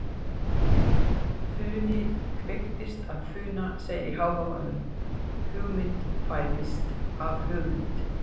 Funi kveikist af funa segir í Hávamálum, hugmynd fæðist af hugmynd.